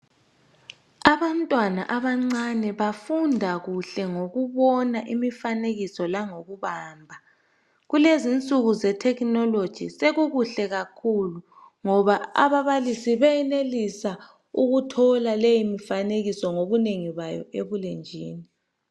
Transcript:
Abantwana abancane abafunda kuhle ngokubona imifanekiso langokubamba. Kulezi insuku zethekhinoloji sokukuhle kakhulu ngoba ababalisi benelisa ukuthola leyi mifanekiso ngobunengi bayo ebulenjini.